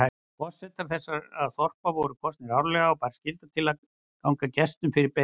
Forsetar þessara þorpa voru kosnir árlega og bar skylda til að ganga gestum fyrir beina.